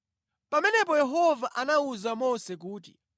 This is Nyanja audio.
Pamenepo Yehova anawuza Mose kuti,